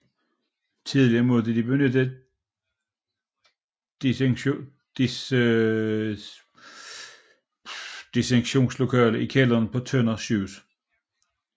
Tidligere måtte de benytte et dissektionslokale i kælderen på Tønder Sygehus